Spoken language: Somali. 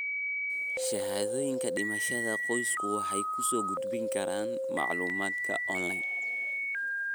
Shahaadooyinka dhimashada, qoysasku waxay ku soo gudbin karaan macluumaadka onlayn.